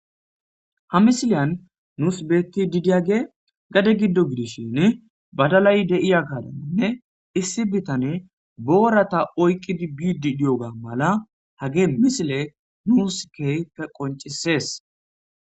ha misiliyan nuus beetti didiyage gade giddo gidishin badalay de7iya kadammonne issi bitane boorata oyqqidi biidi diyoga mala hage misile nuuskeyfe qoncisees